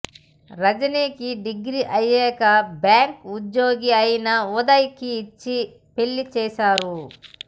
రజనీ కి డిగ్రీ అయ్యాక బ్యాంకు ఉద్యోగీ ఐన ఉదయ్ కి ఇచ్చి పెళ్ళిచేసారు